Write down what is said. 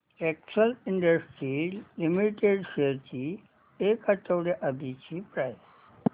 Excel industries limited shares ची एक आठवड्या आधीची प्राइस